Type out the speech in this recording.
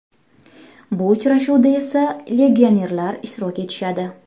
Bu uchrashuvda esa legionerlar ishtirok etishadi.